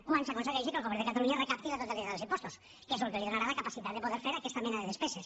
quan s’aconsegueixi que el govern de catalunya recapti la totalitat dels impostos que és el que li donarà la capacitat de poder fer aquesta mena de despeses